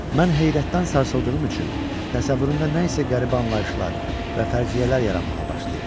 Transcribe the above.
Mən heyrətdən sarsıldığım üçün təsəvvürümdə nəsə qəribə anlayışlar və fərziyyələr yaranmağa başlayırdı.